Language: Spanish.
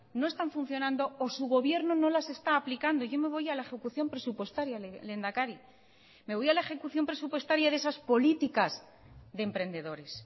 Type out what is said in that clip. no están funcionando o su gobierno no las está aplicando yo me voy a la ejecución presupuestaria lehendakari me voy a la ejecución presupuestaria de esas políticas de emprendedores